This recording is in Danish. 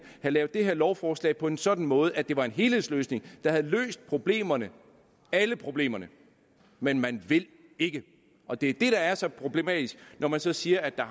have lavet det her lovforslag på en sådan måde at det var en helhedsløsning der havde løst problemerne alle problemerne men man vil ikke og det er det der er så problematisk når man så siger at der